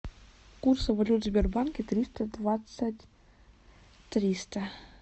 курсы валют в сбербанке триста двадцать триста